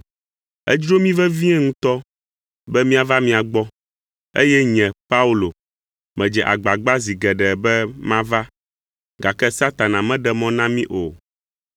Edzro mí vevie ŋutɔ be míava mia gbɔ, eye nye, Paulo, medze agbagba zi geɖe be mava, gake Satana meɖe mɔ na mí o.